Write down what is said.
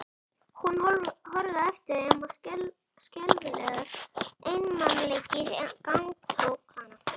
Hún horfði á eftir þeim og skelfilegur einmanaleiki gagntók hana.